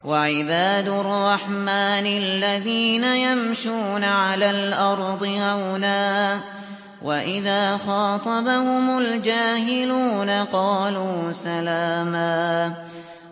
وَعِبَادُ الرَّحْمَٰنِ الَّذِينَ يَمْشُونَ عَلَى الْأَرْضِ هَوْنًا وَإِذَا خَاطَبَهُمُ الْجَاهِلُونَ قَالُوا سَلَامًا